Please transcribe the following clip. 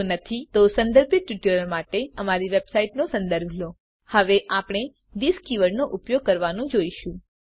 જો નથી તો સંદર્ભિત ટ્યુટોરીયલો માટે દર્શાવેલ અમારી વેબસાઈટનો સંદર્ભ લો httpwwwspoken tutorialઓર્ગ હવે આપણે થિસ કીવર્ડનો ઉપયોગ કરવાનું જોઈશું